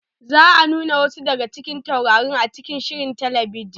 Za a nuna wasu daga cikin taurari a cikin shirin talabijin.